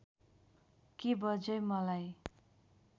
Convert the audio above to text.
के बज्यै मलाई